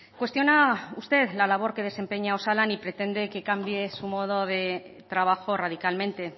cuestiona usted la labor que desempeña osalan y pretende que cambie su modo de trabajo radicalmente